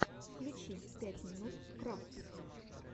включи пять минут крафтс